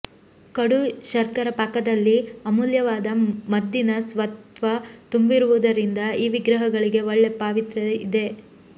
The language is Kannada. ಕಡು ಶರ್ಕರ ಪಾಕದಲ್ಲಿ ಅಮೂಲ್ಯವಾದ ಮದ್ದಿನ ಸತ್ವ ತುಂಬಿರುವುದರಿಂದ ಈ ವಿಗ್ರಹಗಳಿಗೆ ಒಳ್ಳೆ ಪಾವಿತ್ರ್ಯ ಇದೆ